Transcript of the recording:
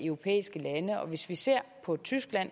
europæiske lande hvis vi ser på tyskland